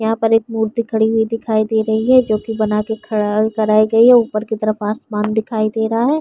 यहाँ पर एक मूर्ति खड़ी हुई दिखाई दे रही है जो कि बना के खड़ा कराई गई है। ऊपर की तरफ आसमान दिखाई दे रहा है।